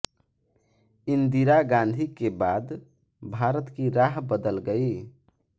इंदिरा गांधी के बाद भारत की राह बदल गई